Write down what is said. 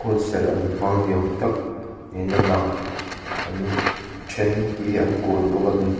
hunserh an hmang niawm tak niin a lang an a then hi an kun bawk ani.